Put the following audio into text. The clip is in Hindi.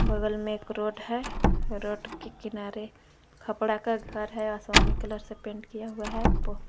बगल में एक रोड है रोड के किनारे खपड़ा का घर है आसमानी कलर से पेंट किया हुआ है।